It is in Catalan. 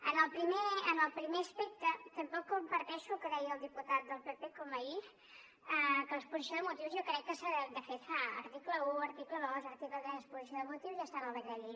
en el primer aspecte tampoc comparteixo el que deia el diputat del pp com ahir que l’exposició de motius jo crec que de fet fa article un article dos article tres exposició de motius i ja està en el decret llei